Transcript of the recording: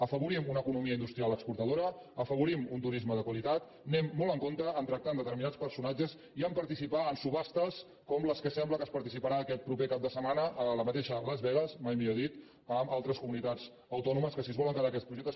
afavorim una economia industrial exportadora afavorim un turisme de qualitat anem molt amb compte a tractar amb de·terminats personatges i a participar en subhastes com les que sembla que s’hi participarà aquest proper cap de setmana a la mateixa las vegas mai millor dit amb altres comunitats autònomes que si es volen que·dar aquest projecte